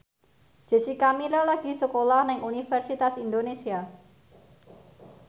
Jessica Milla lagi sekolah nang Universitas Indonesia